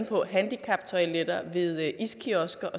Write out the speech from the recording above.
så handicaptoiletter ved iskiosker